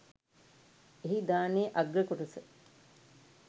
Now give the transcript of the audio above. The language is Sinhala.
එහි දානයේ අග්‍ර කොටස